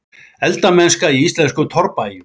Eldamennska í íslensku torfbæjunum.